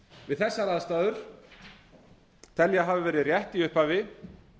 við þessar aðstæður tel ég að hafi verið rétt í upphafi